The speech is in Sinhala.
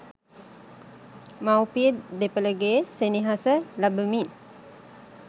මවුපිය දෙපළගේ සෙනෙහස ලබමින්